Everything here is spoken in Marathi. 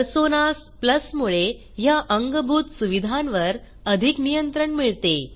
पर्सोनास प्लस मुळे ह्या अंगभूत सुविधांवर अधिक नियंत्रण मिळते